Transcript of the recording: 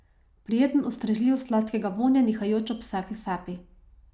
Prijeten, ustrežljiv, sladkega vonja, nihajoč ob vsaki sapi.